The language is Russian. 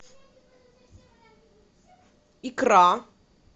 икра